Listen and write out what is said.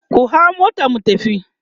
ku hau motar mu tafi!